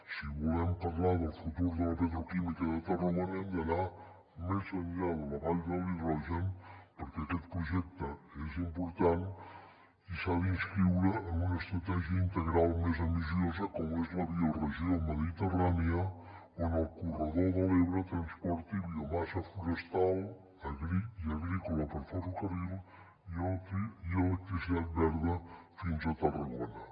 si volem parlar del futur de la petroquímica de tarragona hem d’anar més enllà de la vall de l’hidrogen perquè aquest projecte és important i s’ha d’inscriure en una estratègia integral més ambiciosa com és la bioregió mediterrània on el corredor de l’ebre transporti biomassa forestal i agrícola per ferrocarril i electricitat verda fins a tarragona